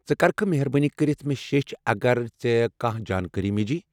ژٕ کرکھہٕ مہربٲنی كرِتھ مےٚ شیٚچھِ اگر ژےٚ كانہہ زانكٲری میجی ؟